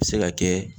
Se ka kɛ